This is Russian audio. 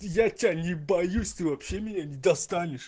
я тебя не боюсь ты вообще меня не достанешь